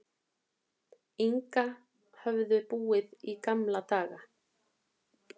Inga höfðu búið í gamla daga.